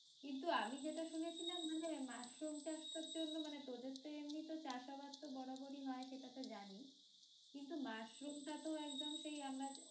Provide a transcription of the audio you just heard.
কিন্তু আমি যেটা শুনেছিলাম মানে মাশরুম চাষ করার জন্য মানে তোদের তো এমনই তো চাষ আবাদ তো বরাবরই হয় সেটা তো জানি কিন্তু মাশরুম টা তো একদম সেই আমরা